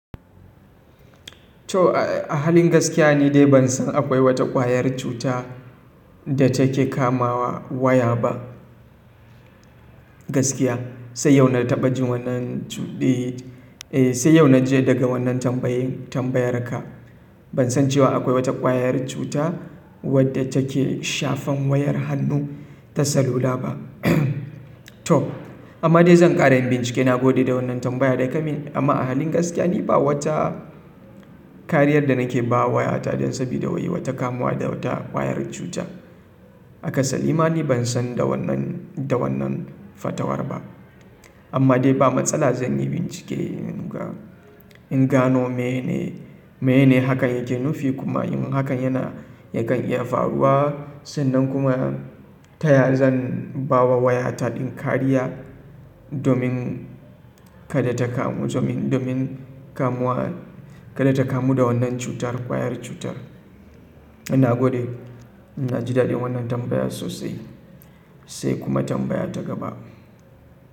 To ahalin gaskiya ni dai ban san akwai wata kwayar cuta da take kamawa waya ba. Gaskiya sai yau na taɓa jin wannan, eh sai yau na ji daga wannan tambayan tambayar ka. Ban san cewa akwai wata kwayar cuta wadda take shafan wayar hannu ta salula ba. To amma dai zan ƙara in bincike, na gode da wannan tambayar da ka yi. Amma a halin gaskiya ni ba wata kariyar da nake ba wa waya ta don sabida wai wata kamuwa da wata kwayar cuta. Akasari ma ni ban san da wannan, da wannan fatawar ba. Amma dai ba matsala zan yi bincike in ga, in gano mene, mene hakan yake nufi kuma in hakan yana yakan iya faruwa sannan kuma ta yaya zan ba wa waya ta ɗin kariya domin kada ta kamu, domin kamuwa, kada ta kamu da wannan cutar kwayar cutar. Ina gode, na ji daɗin wannan tambayar sosai sai kuma tambaya ta gaba.